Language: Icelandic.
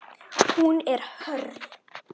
Hún er hörð.